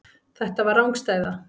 Þetta var rangstæða.